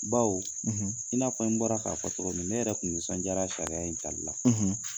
Baw i n'a fɔ n bɔra k'a fɔ cogo min ne yɛrɛ kun nisɔndiyara sariya in tali la.